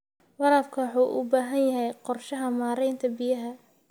Waraabka waxa uu u baahan yahay qorshaha maaraynta biyaha.